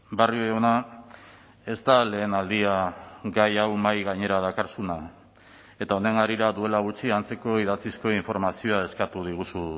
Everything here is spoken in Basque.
barrio jauna ez da lehenaldia gai hau mahai gainera dakarzuna eta honen harira duela gutxi antzeko idatzizko informazioa eskatu diguzu